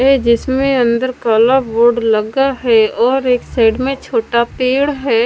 ये जिसमें अंदर काला बोर्ड लगा है और एक साइड में छोटा पेड़ है।